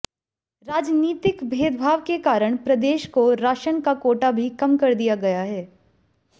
राजनीतिक भेदभाव के कारण प्रदेश को राशन का कोटा भी कम कर दिया गया है